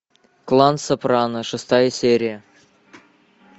клан сопрано шестая серия